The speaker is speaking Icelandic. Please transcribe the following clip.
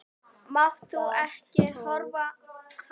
Máttu ekki hafa það.